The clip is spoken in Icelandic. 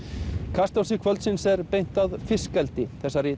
kastljósi kvöldsins er beint að fiskeldi þessari